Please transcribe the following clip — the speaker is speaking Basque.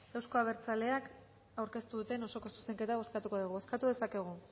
eta euzko abertzaleak aurkeztu duten osoko zuzenketa bozkatuko dugu bozkatu dezakegu